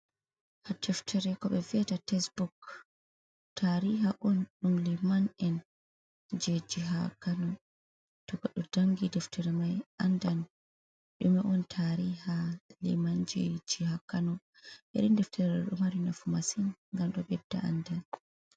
Deftere koɓe viyata tesbuk. Tariha on ɗum liman’en je jiha kano. To goɗɗo jangi deftere mai andan ɗume on tariha limanji je jiha kano. Irin defteri ɗo ɗo mari nafu masin ngam ɗo bedda andal.